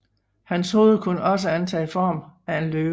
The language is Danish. Hans hoved kunne også antage form af en løve